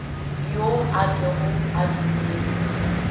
yo a kego a dumele